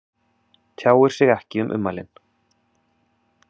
Tjáir sig ekki um ummælin